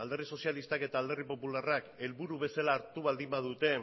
alderdi sozialistak eta alderdi popularrak helburu bezala hartu baldin badute